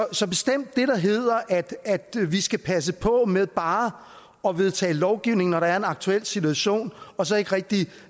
det der hedder at vi skal passe på med bare at vedtage lovgivning når der er en aktuel situation og så ikke rigtig